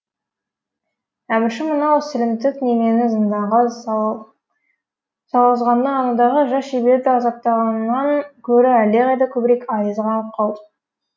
әмірші мынау сілімтік немені зынданға салғызғанына анадағы жас шеберді азаптағанынан гөрі әлдеқайда көбірек айызы қанып қалды